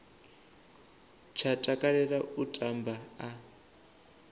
tsha takalela u tamba a